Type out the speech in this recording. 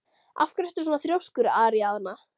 Af hverju ertu svona þrjóskur, Aríaðna?